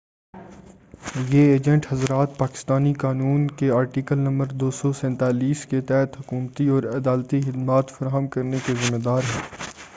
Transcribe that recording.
یہ ایجنٹ حضرات پاکستانی قانون کے آرٹیکل نمبر 247 کے تحت حکومتی اور عدالتی خدمات فراہم کرنے کے ذمّے دار ہیں